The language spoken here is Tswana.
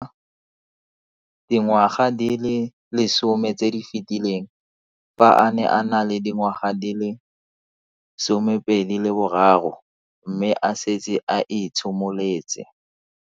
Dingwaga di le 10 tse di fetileng, fa a ne a le dingwaga di le 23 mme a setse a itshimoletse.